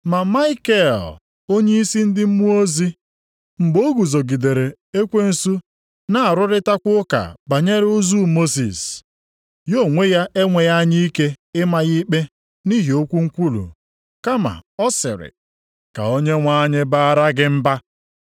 Ma Maikel onyeisi ndị mmụọ ozi, mgbe o guzogidere ekwensu na-arụrịtakwa ụka banyere ozu Mosis, ya onwe ya enweghị anya ike ịma ya ikpe nʼihi okwu nkwulu, kama ọ sịrị, “Ka Onyenwe anyị baara gị mba.”